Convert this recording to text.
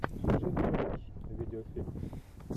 джеффри раш видеофильм